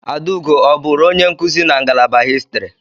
Adaugo ọ bụụrụ onye nkuzi na ngalaba Histri?